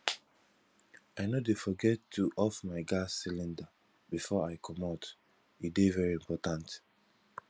i no dey forget to off my gas cylinder before i comot e dey very important